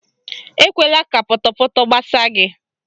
Ekwela ka pọtọpọtọ gbasaa gị.